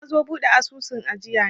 nazo buɗe asusun ajiya ne